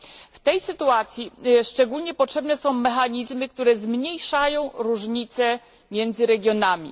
W tej sytuacji szczególnie potrzebne są mechanizmy, które zmniejszają różnice między regionami.